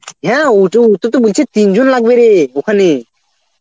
হ্যাঁ ও তো ওটা তো বলছে তিনজন লাগবে রে ওখানে